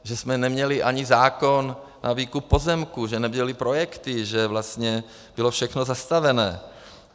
Že jsme neměli ani zákon na výkup pozemků, že nebyly projekty, že vlastně bylo všechno zastavené.